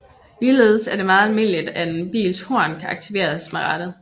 Ligeledes er det meget almindeligt at en bils horn kan aktiveres med rattet